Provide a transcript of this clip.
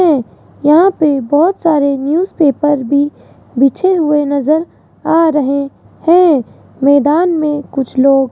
यहां पे बहोत सारे न्यूज़ पेपर भी बिछे हुए नजर आ रहे हैं मैदान में कुछ लोग --